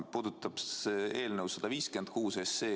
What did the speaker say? Puudutab see eelnõu 156.